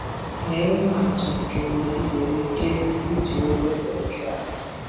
Nye ihe atụ nke mgbe ị nwere ike iji Ụgụgụ nke a.